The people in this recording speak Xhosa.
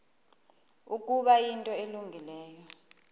ukuba yinto elungileyo